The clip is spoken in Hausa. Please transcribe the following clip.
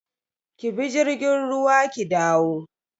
Ki bi jirgin ruwa ki dawo.